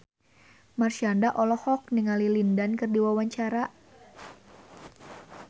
Marshanda olohok ningali Lin Dan keur diwawancara